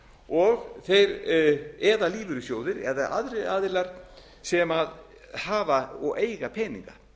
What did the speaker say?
og þeir eða lífeyrissjóðir eða aðrir aðilar sem hafa og eiga peninga